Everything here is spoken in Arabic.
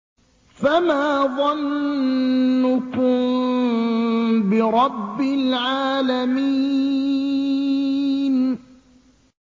فَمَا ظَنُّكُم بِرَبِّ الْعَالَمِينَ